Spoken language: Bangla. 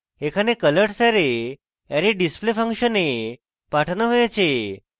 এখানে colors অ্যারে array _ display ফাংশনে পাঠানো হয়েছে